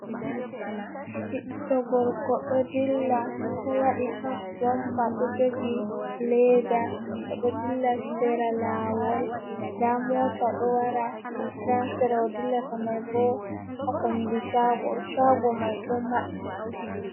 Ɓiɗɗo gorko ɗo dilla ɗo waɗi hab jompa, ɗo jogi leeda, o ɗo dilla sera laawol, nda moota ɗo wara haa sera o dillata may bo, haa kombi caago, caago mai ɗo maɓɓi.